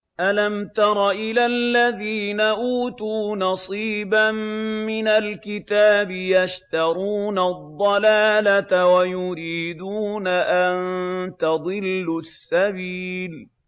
أَلَمْ تَرَ إِلَى الَّذِينَ أُوتُوا نَصِيبًا مِّنَ الْكِتَابِ يَشْتَرُونَ الضَّلَالَةَ وَيُرِيدُونَ أَن تَضِلُّوا السَّبِيلَ